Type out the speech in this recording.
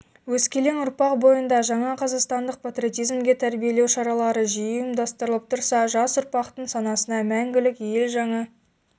өскелең ұрпақ бойында жаңа қазақстандық патриотизмге тәрбиелеу шаралары жиі ұйымдастырылып тұрса жас ұрпақтың санасына мәңгілік елжаңа